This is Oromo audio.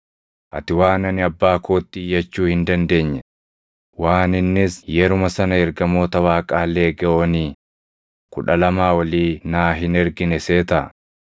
Ati waan ani Abbaa kootti iyyachuu hin dandeenye, waan innis yeruma sana ergamoota Waaqaa Leegewoonii + 26:53 Leegewooniin Roomaa tokkichi loltoota 6,000 qabata. Kudha Lamaa olii naa hin ergine seetaa?